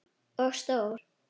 Og stór.